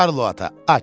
Karlo ata, aç!